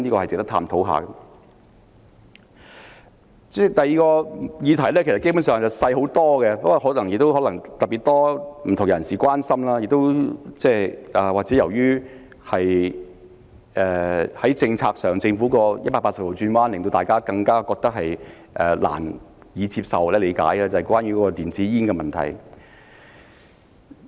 主席，第二項議題基本上是細小很多，但可能有特別多不同人士關心，或者由於政府在政策上作180度轉彎，令大家難以接受或理解，那便是電子煙的問題。